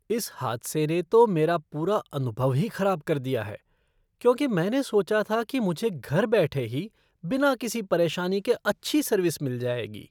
इस हादसे ने तो मेरा पुरा अनुभव ही खराब कर दिया है, क्योंकि मैंने सोचा था कि मुझे घर बैठे ही बिना किसी परेशानी के अच्छी सर्विस मिल जाएगी।